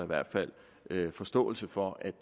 hvert fald forståelse for at